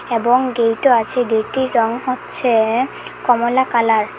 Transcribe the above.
এবং গেইটও আছে গেটটির রং হচ্ছে কমলা কালার ।